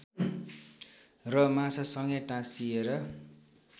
र माछासँगै टाँसिएर